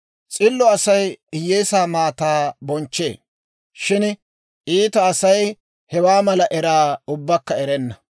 S'illo Asay hiyyeesaa maataa bonchchee; shin iita Asay hewaa mala eraa ubbakka erenna.